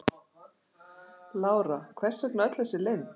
Lára: Hvers vegna öll þessi leynd?